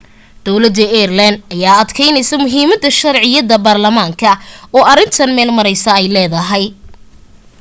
dawlada ireland ayaa adkeynaysaa muhiimada sharciyad baarlamaan oo arintan meel maraysaa ay leedahay